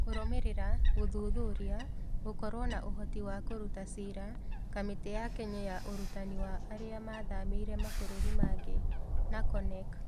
Kũrũmĩrĩra, Gũthuthuria, Gũkorũo na Ũhoti wa Kũruta Ciira, Kamĩtĩ ya Kenya ya Ũrutani wa Arĩa Mathamĩire Mabũrũri mangĩ (NACONEK)